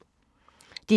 DR1